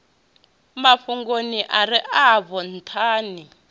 mafhungoni are afho ntha ni